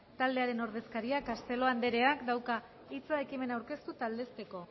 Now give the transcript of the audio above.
taldearen ordezkariak castelo andereak dauka hitza ekimena aurkeztu eta aldezteko